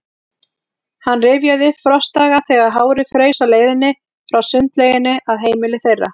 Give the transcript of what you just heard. Hann rifjaði upp frostdaga, þegar hárið fraus á leiðinni frá sundlauginni að heimili þeirra.